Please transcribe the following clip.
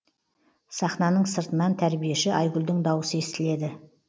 сахнаның сыртнан тәрбиеші айгүлдің дауысы естіледі